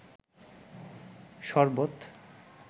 শরবত